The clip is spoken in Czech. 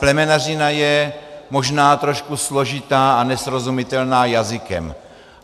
Plemenařina je možná trošku složitá a nesrozumitelná jazykem.